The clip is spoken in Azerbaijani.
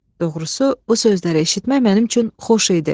Doğrusu, bu sözləri eşitmək mənim üçün xoş idi.